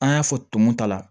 An y'a fɔ tumu ta la